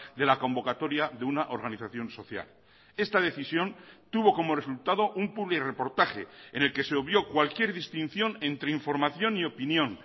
de la convocatoria de una organización social esta decisión tuvo como resultado un publi reportaje en el que se obvió cualquier distinción entre información y opinión